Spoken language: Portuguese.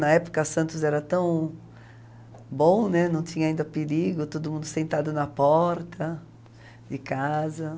Na época, Santos era tão bom, né, não tinha ainda perigo, todo mundo sentado na porta de casa.